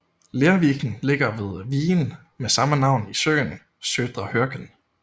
Lerviken ligger ved vigen med samme navn i søen Södra Hörken